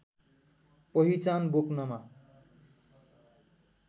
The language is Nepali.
पहिचान बोक्नमा